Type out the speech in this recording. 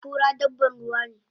Kura dabban ruwa ne